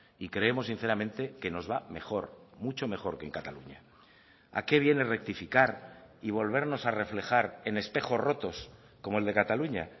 y creemos sinceramente que nos va mejor mucho mejor que en cataluña a qué viene rectificar y volvernos a reflejar en espejos rotos como el de cataluña